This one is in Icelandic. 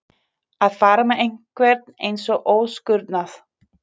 Að fara með einhvern eins og óskurnað